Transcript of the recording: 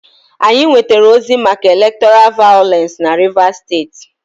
Anyị nwetara ozi maka elektọra vayọlensị na Rivas steeti.